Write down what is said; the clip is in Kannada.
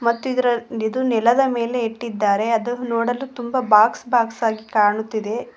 ಮತ್ತು ಇದರ ಇದು ನೆಲದ ಮೇಲೆ ಇಟ್ಟಿದ್ದಾರೆ ಅದು ನೋಡಲು ತುಂಬಾ ಬಾಕ್ಸ್ ಬಾಕ್ಸ್ ಆಗಿ ಕಾಣುತ್ತಿದೆ.